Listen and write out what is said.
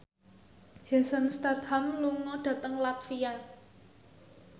Jason Statham lunga dhateng latvia